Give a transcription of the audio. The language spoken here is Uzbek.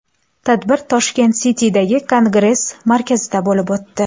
Tadbir Tashkent City’dagi Kongress markazida bo‘lib o‘tdi.